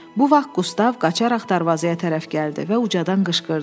Bu vaxt Qustav qaçaraq darvazaya tərəf gəldi və ucadan qışqırdı.